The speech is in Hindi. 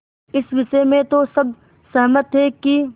इस विषय में तो सब सहमत थे कि